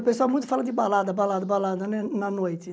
O pessoal muito fala de balada, balada, balada, né na noite.